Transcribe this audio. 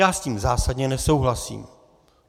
Já s tím zásadně nesouhlasím.